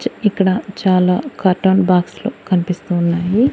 ఇక్కడ చాలా cotton box లు కన్పిస్తూ ఉన్నాయి.